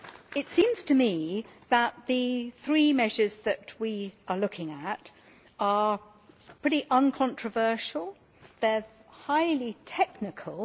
It seems to me that the three measures that we are looking at are pretty uncontroversial. They are highly technical.